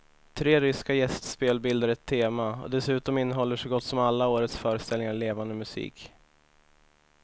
Tre ryska gästspel bildar ett tema och dessutom innehåller så gott som alla årets föreställningar levande musik.